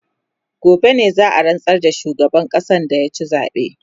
gobe ne za'a rantsar da shugaban ƙasan da ya ci zabe